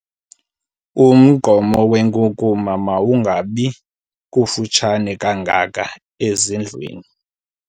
Umgqomo wenkunkuma mawungabi kufutshane kangaka ezindlwini.